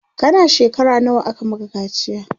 kana shekara nawa aka Maka kaciya?